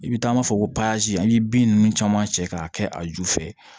I bɛ taa an b'a fɔ ko pasa an ye bin ninnu caman cɛ k'a kɛ a ju fɛ